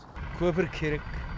көпір керек